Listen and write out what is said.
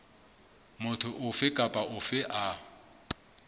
motho ofe kapa ofe a